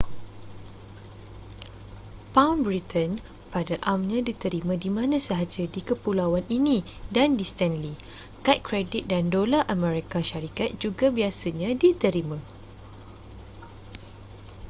pound britain pada amnya diterima di mana sahaja di kepulauan ini dan di stanley kad kredit dan dolar amerika syarikat juga biasanya diterima